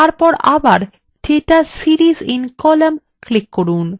তারপর আবার data series in column click করুন